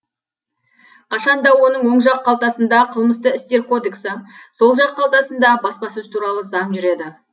қашанда оның оң жақ қалтасында қылмысты істер кодексі сол жаң қалтасында баспасөз туралы заң жүреді